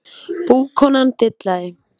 Búkonan dillaði